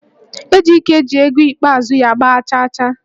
Ejike ji ego ikpeazụ ya gba chaachaa